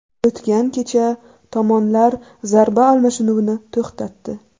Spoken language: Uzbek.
O‘tgan kecha tomonlar zarba almashinuvini to‘xtatdi.